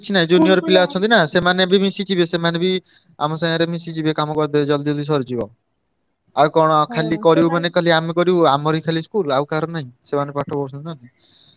କିଛି ନାହିଁ junior ପିଲା ଅଛନ୍ତି ନା ସେମାନେ ବି ମିଶିଯିବେ ସେମାନେ ବି ଆମ ସାଙ୍ଗରେ ମିଶିଯିବେ କାମ କରିଦେବେ ଜଲଦି ଜଲଦି ସରିଯିବ। ଆଉ କଣ ଖାଲି ଆମେ କରିବୁ ଆମର ହିଁ ଖାଲି school ଆଉ କାହାର ନାହିଁ, ସେମାନେ ପାଠ ପଢୁଛନ୍ତି ନା।